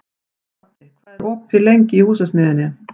Baddi, hvað er lengi opið í Húsasmiðjunni?